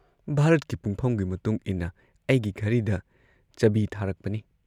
ꯚꯥꯔꯠꯀꯤ ꯄꯨꯡꯐꯝꯒꯤ ꯃꯇꯨꯡꯏꯟꯅ ꯑꯩꯒꯤ ꯘꯔꯤꯗ ꯆꯕꯤ ꯊꯥꯔꯛꯄꯅꯤ꯫